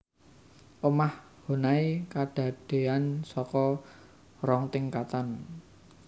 Omah Honai kadadéan saka rong tingkatan